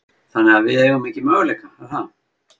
Þannig að við eigum ekki möguleika, er það?